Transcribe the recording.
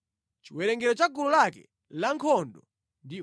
Chiwerengero cha gulu lake lankhondo ndi 46,500.